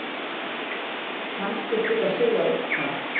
Kannski til að segja eitthvað.